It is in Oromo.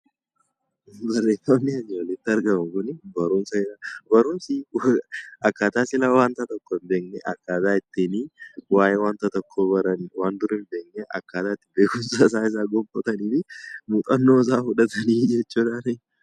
Barreeffamni asii olitti argamu kunii barumsa jedha. Barumsi akkaataa sila waanta tokko hin beekne akkaataa ittiin waa'ee waanta tokkoo baranidha. Waantota hin beekne beekumsa isaa gonfataniinii muuxannoo isaa fudhatanii jechuudha.